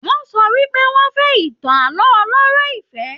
Wọn sọ wípé wọn fẹ ìtàn ààlọ́ ọlọ̀rọ̀ ìfẹ.